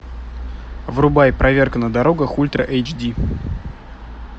врубай проверка на дорогах ультра эйч ди